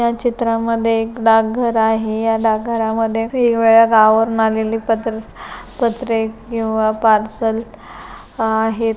या चित्रामध्ये एक डाकघर आहे या डाकघरामध्ये वेगवेगळ्या गावावरून आलेले पत्रे पत्रे किंवा पार्सल आहेत.